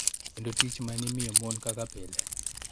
Kendo tich ma ne imiyo mon kaka pile.